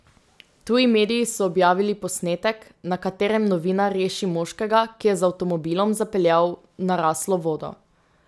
Tuji mediji so objavili posnetek, na katerem novinar reši moškega, ki je z avtomobilom zapeljal v naraslo vodo.